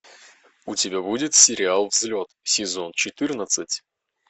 у тебя будет сериал взлет сезон четырнадцать